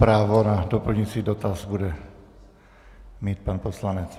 Právo na doplňující dotaz bude mít pan poslanec.